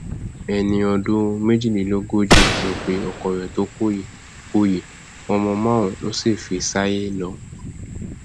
ẹni ọdún méjìlélógójì ló pe ọkọ rẹ tó kú yìí kú yìí ọmọ márùnún ló sì fi ṣayé lọ